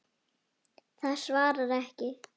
Það svarar ekki.